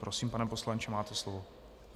Prosím, pane poslanče, máte slovo.